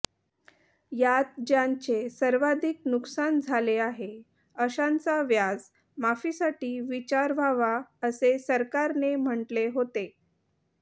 यात ज्यांचे सर्वाधिक नुकसान झाले आहे अशांचा व्याज माफीसाठी विचार व्हावा असे सरकारने म्हटलं होते